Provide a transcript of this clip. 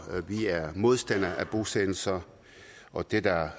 vi er modstandere af bosættelser og det er der